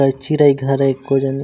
अ चिरई घर अए कोजन--